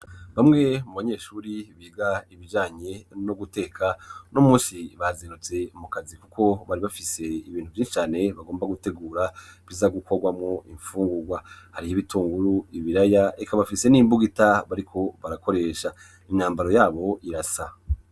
bamwe mu banyeshuri biga ibijanye no guteka n'umunsi bazindutse mu kazi kuko bari bafise ibintu vyinsi cane bagomba gutegura biza gukorwamwo imfungurwa hari ibitunguru ibiraya eka bafise n'imbug ita bariko barakoresha n'imyambaro yabo irasa